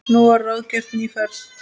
Nú var ráðgerð ný ferð.